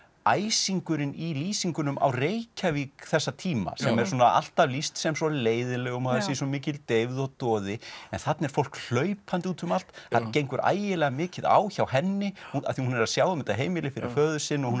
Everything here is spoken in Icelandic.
æsingurinn í lýsingunum á Reykjavík þessa tíma sem er alltaf lýst sem svo leiðinlegum og það sé svo mikil deyfð og doði en þarna er fólk hlaupandi út um allt það gengur ægilega mikið á hjá henni af því hún er að sjá um þetta heimili fyrir föður sinn hún